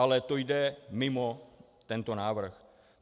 Ale to jde mimo tento návrh.